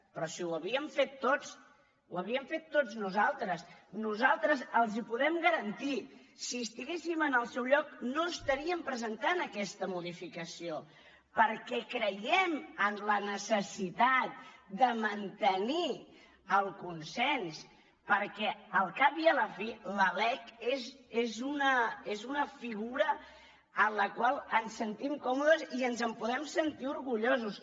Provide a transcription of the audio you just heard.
però si ho havíem fet tots ho havíem fet tots nosaltres nosaltres els ho podem garantir si estiguéssim en el seu lloc no estaríem presentant aquesta modificació perquè creiem en la necessitat de mantenir el consens perquè al cap i a la fi la lec és una figura amb la qual ens sentim còmodes i ens en podem sentir orgullosos